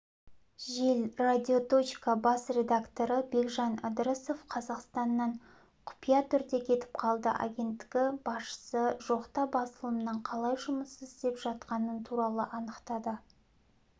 жел радиоточка бас редакторы бекжан ыдырысов қазақстаннан құпия түрде кетіп қалды агенттігі басшысы жоқта басылымның қалай жұмыс істеп жатқаны туралы анықтады